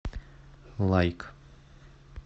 лайк